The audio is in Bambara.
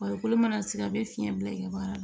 Farikolo mana sigi a bɛ fiɲɛ bila i ka baara la